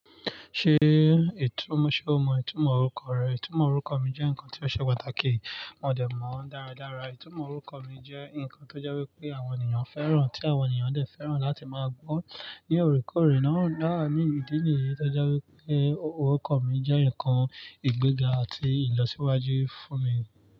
Ṣé ètú, ṣe o mọ ìtumọ̀ orúkọ rẹ? Ìtumọ̀ orúkọ mi jẹ́ nǹkan tí ó ṣe pàtàkì, mo dẹ̀ mọ̀ ọ́n dáradára. Ìtumọ̀ orúkọ mi jẹ́ nǹkan tó jẹ́ wípé àwọn ènìyàn fẹ́ràn, tí àwọn ènìyàn dẹ̀ fẹ́ràn láti máa gbọ́ ní orekore náà. Dáa, ní ìdí nìyí tó jẹ́ wípé orúkọ mi jẹ́ ǹkan ìgbéga àti ìlọsíwájú fún mi.